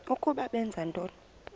ukuba benza ntoni